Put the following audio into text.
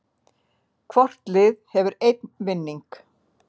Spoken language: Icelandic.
Hvort lið hefur einn vinning